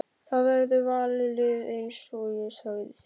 Það verður valið lið eins og ég sagði þér.